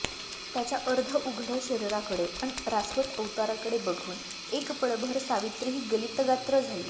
त्याच्या अर्धउघड्या शरीराकडे अन रासवट अवताराकडे बघून एक पळभर सावित्रीही गलितगात्र झाली